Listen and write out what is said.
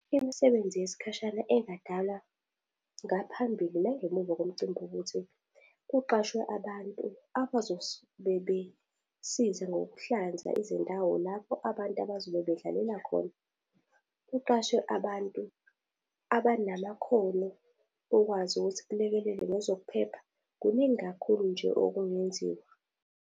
Imisebenzi yesikhashana engadala ngaphambili nangemuva komcimbi ukuthi kuqashwe abantu bebesiza ngokuhlanza izindawo lapho abantu abazobe bedlalela khona. Kuqashwe abantu abanamakhono okwazi ukuthi kulekelelwe ngezokuphepha. Kuningi kakhulu nje okungenziwa.